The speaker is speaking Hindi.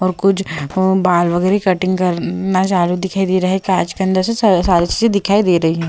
और कुछ बाल वगैरह कटिंग करना जानू दिखाई दे रहा है काच के अंदर से सारी चीजें दिखाई दे रही है।